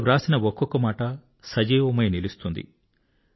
వారు వ్రాసిన ఒక్కొక్క మాట సజీవమై నిలుస్తుంది